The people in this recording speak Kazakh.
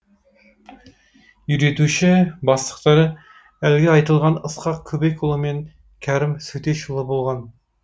үйретуші бастықтары әлгі айтылған ысқақ көбекұлы мен кәрім сөтешұлы болған